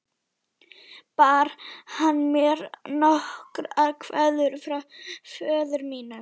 Bar hann mér nokkra kveðju frá föður mínum?